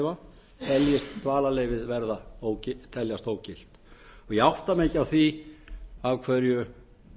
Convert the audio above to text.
tel st dvalarleyfið vera ógilt ég átta mig ekki á því af hverju